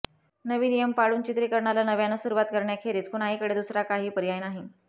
नवीन नियम पाळून चित्रीकरणाला नव्यानं सुरुवात करण्याखेरीज कुणाहीकडे दुसरा काही पर्याय नाही